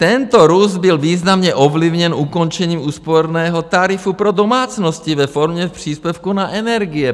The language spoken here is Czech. Tento růst byl významně ovlivněn ukončením úsporného tarifu pro domácnosti ve formě příspěvku na energie.